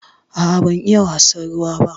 A'a ban iya wasan ruwa ba.